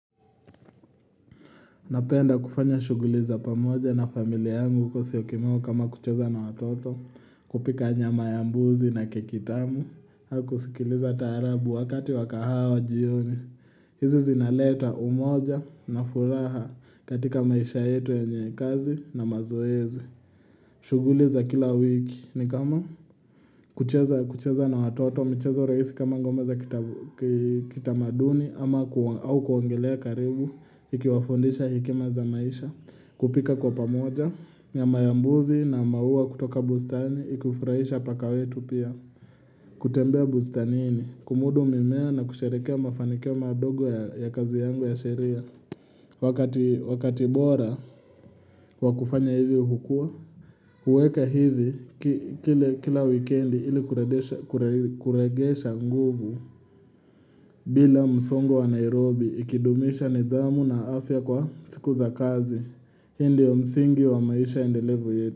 Napenda kufanya shuguli za pamoja na familia angu kwa siyokimau kama kucheza na watoto, kupika nyama ya mbuzi na kekitamu, hau kusikiliza tarabu wakati wakahao jioni. Hizi zinaleta umoja na furaha katika maisha yetu yenyekazi na mazoezi. Shuguli za kila wiki ni kama kucheza na watoto mchezo raisi kama ngoma za kitamaduni ama au kungilea karibu ikiwafundisha hekima za maisha kupika kwa pamoja nyama ya mbuzi na maua kutoka bustani ikufurahisha paka wetu pia kutembea bustanini kumudu mimea na kusherekea mafanikio madogo ya kazi yangu ya sheria Wakati bora wa kufanya hivi hukua uweka hivi kila wikendi ili kuregesha nguvu bila msongo wa Nairobi ikidumisha nidhamu na afya kwa siku za kazi. Hii ndiyo msingi wa maisha indelevu yetu.